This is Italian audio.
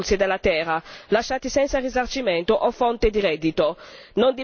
Non dimentichiamoci che la povertà è una delle principali cause dei conflitti.